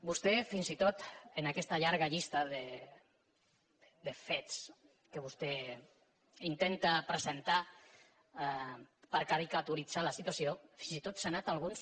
vostè fins i tot en aquesta llarga llista de fets que vostè intenta presentar per caricaturitzar la situació fins i tot se n’ha anat a alguns